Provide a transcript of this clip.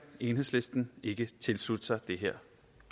enhedslisten ikke tilslutte sig det her